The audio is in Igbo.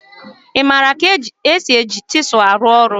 ị maara ka esi eji chisel arụ ọrụ?